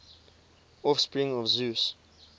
offspring of zeus